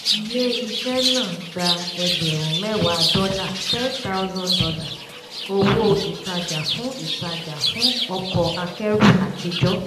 ilé iṣẹ́ náà gba ẹgbẹ̀rún mẹ́wàá dọ́là ten thousand dollar owó ìtajà fún ìtajà fún ọkọ̀ akẹ́rù àtijọ́.